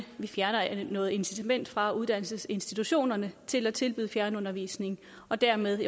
fjerner noget incitament fra uddannelsesinstitutionerne til at tilbyde fjernundervisning og dermed